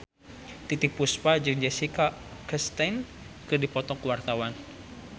Titiek Puspa jeung Jessica Chastain keur dipoto ku wartawan